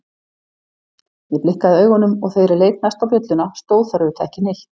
Ég blikkaði augunum og þegar ég leit næst á bjölluna stóð þar auðvitað ekki neitt.